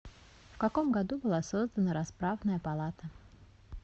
в каком году была создана расправная палата